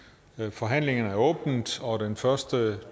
forhandlingen er åbnet og den første